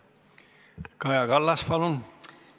Kaja Kallas, palun!